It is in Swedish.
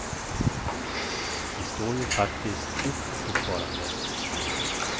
Vi står ju faktiskt upp fortfarande.